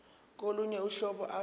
kolunye uhlobo ase